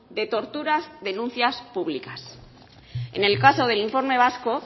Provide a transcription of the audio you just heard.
de torturas denuncias públicas en el caso del informe vasco